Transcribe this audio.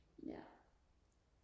ja